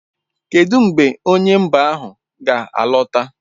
Kedu mgbe onye mba ahụ ga-alọta?